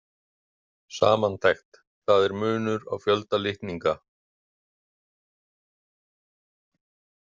Samantekt Það er munur á fjölda litninga.